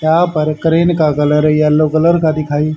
यहां पर क्रेन का कलर येलो कलर का दिखाई--